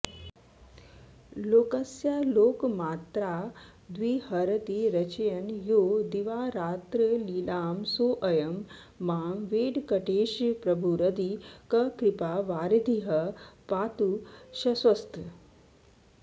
लोकस्यालोकमात्राद्विहरति रचयन् यो दिवारात्रलीलां सोऽयं मां वेङ्कटेशप्रभुरधिककृपावारिधिः पातु शश्वत्